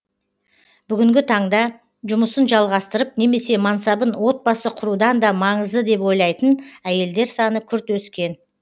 бүгінгі таңда жұмысын жалғастырып немесе мансабын отбасы құрудан да маңызды деп ойлайтын әйелдер саны күрт өскен